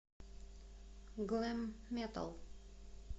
глэм метал